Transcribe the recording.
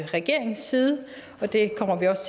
regeringens side og det kommer vi også